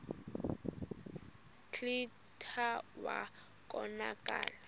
kclta wa konakala